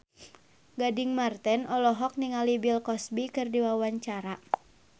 Gading Marten olohok ningali Bill Cosby keur diwawancara